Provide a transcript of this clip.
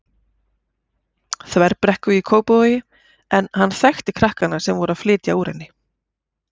Þverbrekku í Kópavogi en hann þekkti krakkana sem voru að flytja úr henni.